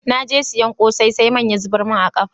N'na soyan kose, sai man ya zubar mun a'kafafu.